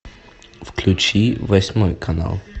включи восьмой канал